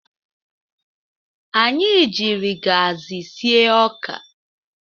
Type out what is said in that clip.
Anyị jiri gaasị sie ọka.